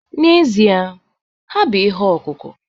N'ezie. ha bụ ihe ọkụkụ